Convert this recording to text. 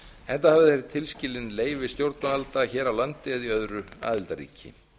enda hafa þeir tilskilin leyfi stjórnvalda hér á landi eða í öðru aðildarríki